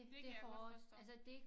Det kan jeg godt forstå